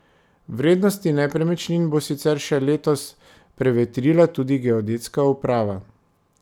Vrednosti nepremičnin bo sicer še letos prevetrila tudi geodetska uprava.